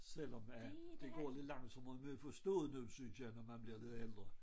Selvom at det går lidt langsommere med at forstå noget synes jeg når man bliver lidt ældre